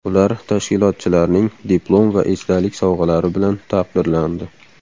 Ular tashkilotchilarning diplom va esdalik sovg‘alari bilan taqdirlandi.